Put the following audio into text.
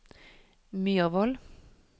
Myhrvold